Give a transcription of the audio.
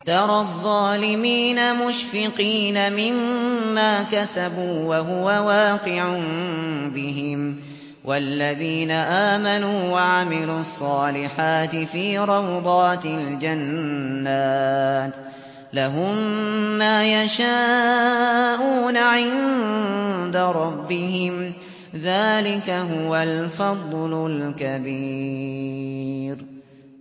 تَرَى الظَّالِمِينَ مُشْفِقِينَ مِمَّا كَسَبُوا وَهُوَ وَاقِعٌ بِهِمْ ۗ وَالَّذِينَ آمَنُوا وَعَمِلُوا الصَّالِحَاتِ فِي رَوْضَاتِ الْجَنَّاتِ ۖ لَهُم مَّا يَشَاءُونَ عِندَ رَبِّهِمْ ۚ ذَٰلِكَ هُوَ الْفَضْلُ الْكَبِيرُ